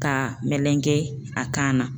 Ka melegen a kan na